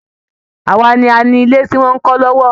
Àwa ni a ni ilé tí wọn ń kọ́ lọ́wọ́